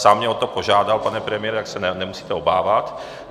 Sám mě o to požádal, pane premiére, tak se nemusíte obávat.